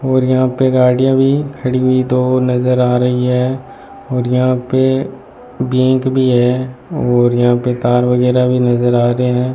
और यहां पे गाड़ियां भी खड़ी हुई दो नजर आ रही है और यहां पे बैंक भी है और यहां पे तार वगैरा भी नजर आ रहे है।